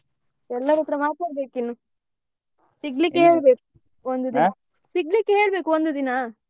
ಎಲ್ಲರತ್ರ ಮಾತಾಡ್ಬೇಕು ಇನ್ನು ಸಿಗ್ಲಿಕ್ಕೆ ಸಿಗ್ಲಿಕ್ಕೆ ಹೇಳ್ಬೇಕು ಒಂದು ದಿನ.